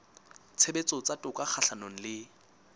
tshebetso tsa toka kgahlanong le